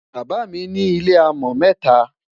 bàbá mí ní ilẹ amo meta